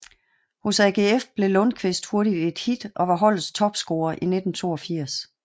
Hos AGF blev Lundkvist hurtigt et hit og var holdets topscorer i 1982